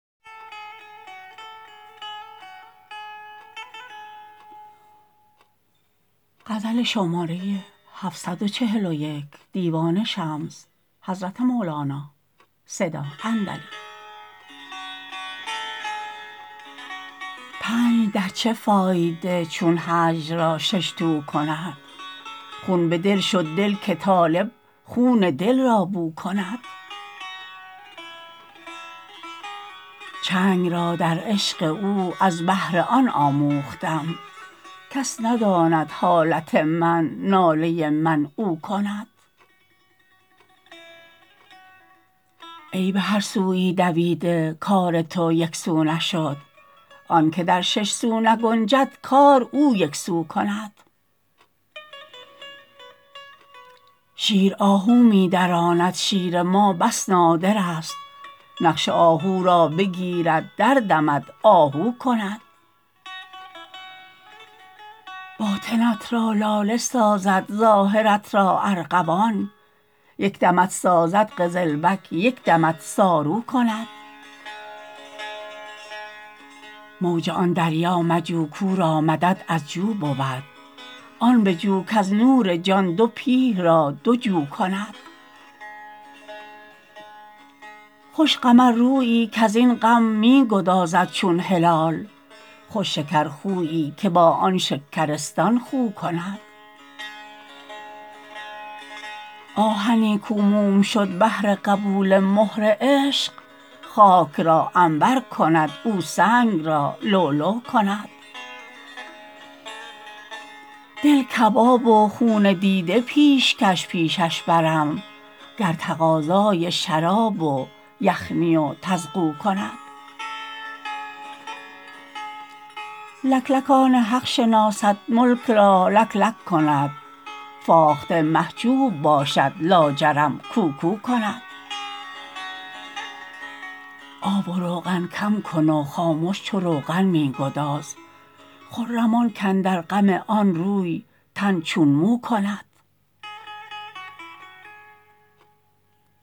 پنج در چه فایده چون هجر را شش تو کند خون بدان شد دل که طالب خون دل را بو کند چنگ را در عشق او از بهر آن آموختم کس نداند حالت من ناله من او کند ای به هر سویی دویده کار تو یک سو نشد آنک در شش سو نگنجد کار او یک سو کند شیر آهو می دراند شیر ما بس نادرست نقش آهو را بگیرد دردمد آهو کند باطنت را لاله سازد ظاهرت را ارغوان یک دمت سازد قزلبک یک دمت صارو کند موج آن دریا مجو کو را مدد از جو بود آن بجو کز نور جان دو پیه را دو جو کند خوش قمررویی کز این غم می گدازد چون هلال خوش شکرخویی که با آن شکرستان خو کند آهنی کو موم شد بهر قبول مهر عشق خاک را عنبر کند او سنگ را لؤلؤ کند دل کباب و خون دیده پیشکش پیشش برم گر تقاضای شراب و یخنی و طرغو کند لکلک آن حق شناسد ملک را لکلک کند فاخته محجوب باشد لاجرم کوکو کند آب و روغن کم کن و خامش چو روغن می گداز خرم آن کاندر غم آن روی تن چون مو کند